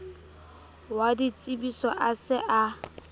wa ditsebiso a se a